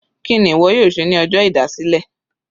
Kíni ìwọ yóò ṣe ní ọjọ́ ìdásílẹ̀?